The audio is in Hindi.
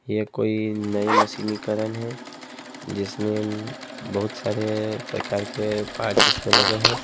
यह कोई नए मशीनी करण है जिसमें बहुत सारे प्रकार के पार्ट्स इसमें लगे हैं।